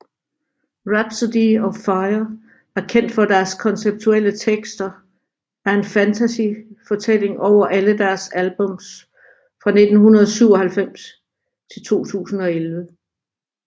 Rhapsody of Fire er kendt for deres konceptuelle tekster er en fantasyfortælling over alle deres albums fra 1997 til 2011